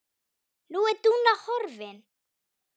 Nú er Dúna horfin.